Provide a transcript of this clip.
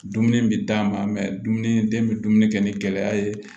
Dumuni bɛ d'a ma dumuni den bɛ dumuni kɛ ni gɛlɛya ye